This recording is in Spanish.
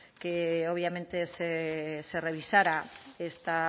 que obviamente se revisara